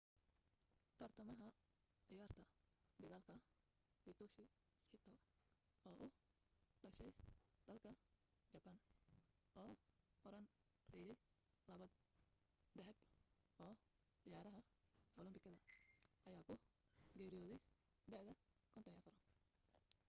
tartamaha ciyaarta dagaalka hitoshi saito oo u dhashay dalka jabaan oo horaan reeyay labo dahab oo ciyaraha olambikada ayaa ku geeriyooday da'da 54